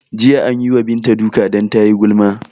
Jiya anyi wa Bintu duka dan tayi gulma